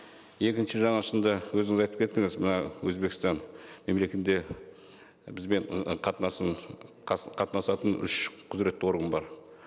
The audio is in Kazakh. екінші жаңа шынында өзіңіз айтып кеттіңіз мына өзбекстан бізбен қатынасатын үш құзыретті орган бар